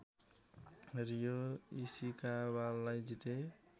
Rio इसिकावालाई जिते